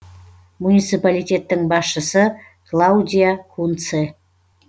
муниципалитеттің басшысы клаудиа кунце